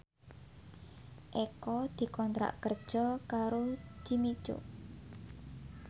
Eko dikontrak kerja karo Jimmy Coo